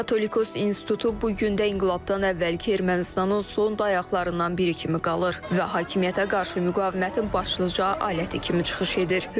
Katolikos institutu bu gün də inqilabdan əvvəlki Ermənistanın son dayaqlardan biri kimi qalır və hakimiyyətə qarşı müqavimətin başlıca aləti kimi çıxış edir.